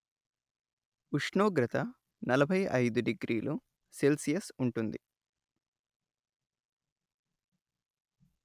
ఉష్ణోగ్రత నలభై అయిదు డిగ్రీలు సెల్షియస్ ఉంటుంది